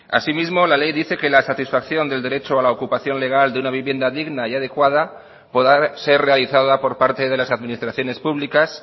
asimismo la ley dice que la satisfacción del derecho a la ocupación legal de una vivienda digna y adecuada podrá ser realizada por parte de las administraciones públicas